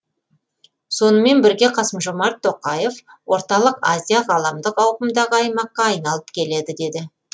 сонымен бірге қасым жомарт тоқаев орталық азия ғаламдық ауқымдағы аймаққа айналып келеді деді